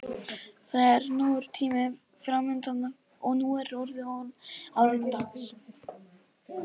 Það er nógur tími framundan og nú er orðið áliðið dags.